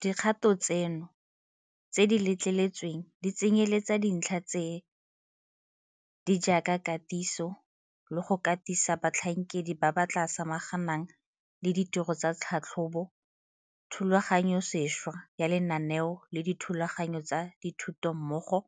Dikgato tseno tse di letleletsweng di tsenyeletsa dintlha tse di jaaka katiso le go katisa batlhankedi ba ba tla samaganang le ditiro tsa tlhatlhobo, thulaganyosešwa ya lenaneo la dithulaganyo tsa dithuto mmogo